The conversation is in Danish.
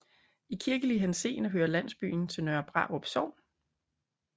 I kirkelig henseende hører landsbyen til Nørre Brarup Sogn